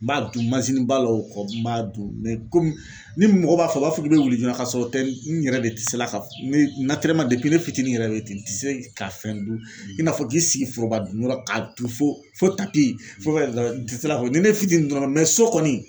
N b'a dun ba la o kɔ n b'a dun kɔmi ni mɔgɔ b'a fɔ u b'a fɔ k'i bɛ wuli joona ka sɔrɔ o tɛ n yɛrɛ de tɛ se la ne ka ne fitinin yɛrɛ de bɛ ten ti se ka fɛn dun i n'a fɔ k'i sigi foroba dun yɔrɔ la ka dun fo ni ne tɛ don kɔni.